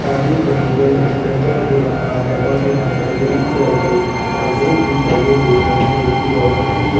का डिस्टंबर हो रखा है और यहां पर ग्रीन कलर क परदे भी टंगे हुए है जो की बहुत बढ़िया --